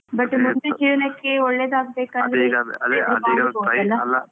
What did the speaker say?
But ಮುಂದೆ ಜೀವನಕ್ಕೆ ಒಳ್ಳೇದಾಗ್ಬೇಕಾದ್ರೆ,